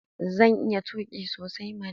Zan iya tuƙi sosai mana.